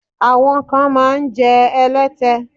Àwọn kan máa ń jẹ́ ẹlẹ́tẹ.